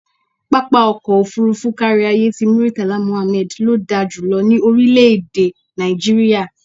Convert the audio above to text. Pápá ọkọ̀ òfuurufú káríayé ti Murtala Muhammad ló da jù lọ ní orílẹ̀-èdè Nàìjíríà.